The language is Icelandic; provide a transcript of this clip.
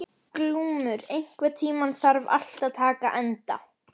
Glúmur, einhvern tímann þarf allt að taka enda.